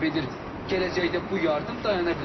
Gələcəkdə bu yardım dayana bilər.